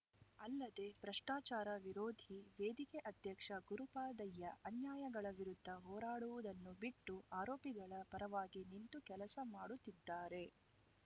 ಅಲ್ಲದೇ ಭ್ರಷ್ಟಾಚಾರ ವಿರೋಧಿ ವೇದಿಕೆ ಅಧ್ಯಕ್ಷ ಗುರುಪಾದಯ್ಯ ಅನ್ಯಾಯಗಳ ವಿರುದ್ಧ ಹೋರಾಡುವುದನ್ನು ಬಿಟ್ಟು ಆರೋಪಿಗಳ ಪರವಾಗಿ ನಿಂತು ಕೆಲಸ ಮಾಡುತ್ತಿದ್ದಾರೆ